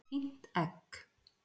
Fínt egg.